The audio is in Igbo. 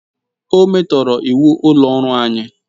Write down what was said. O metoro iwu ulo oru anyi